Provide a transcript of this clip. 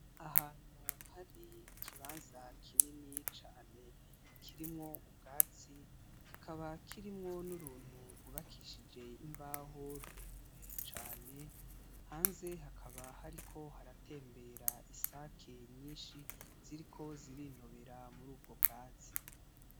Ahantu hari ikibanza kinini cane kirimwo ubwatsi, kikaba kirimwo n'uruntu rwubakishije imbaho, rurerure cane, hanze hakaba hariko haratembera isake nyinshi ziriko zirinobera muri ubwo bwatsi.